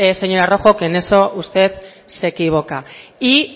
señora rojo que en eso usted se equivoca y